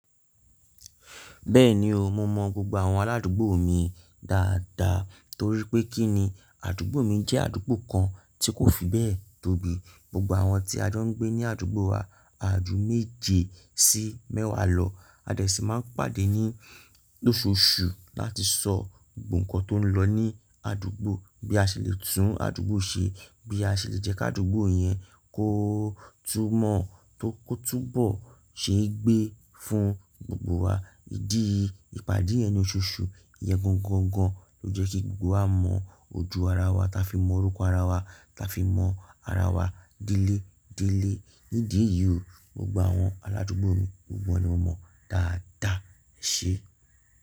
Bẹ́ẹ̀ni o, mo mọ gbogbo àwọn arádúgbò mi dáadáa torí pé kí ni àdúgbò mi jẹ́ àdúgbò kan tí kò fi bẹ́ẹ̀ tóbi, gbogbo àwọn tí a jọ ń gbé ní àdúgbò wa, àáju méje sí mẹ́wàá lọ. A dà sí máa ń pàdé ní lóṣoòṣù láti sọ nǹkan tó ń lọ ní àdúgbò bí a ṣe lè tún àdúgbò ṣe, bí a ṣe lè jẹ́ kí àdúgbò yẹn kó túmọ̀ tó kó túbọ̀ ṣe é gbé fún gbogbo wa. Ídí ìpàdé yen lòṣòòṣù, ìyẹn gangan ló jẹ́ kí gbogbo wa mọ ojú ara wa, ta fi mọ orúkọ ara wa, ta fi mọ ara wa dẹ́lẹ́ dẹ́lẹ́. Ní ìdí èyí o, gbogbo àwọn aládúgbò mi gbogbo wọn ni mo mọ dáadáa, eṣé?